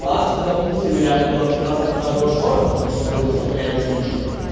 вас допустим и реально буду обсираться от каждого шороха потому что он будет настолько реалистичным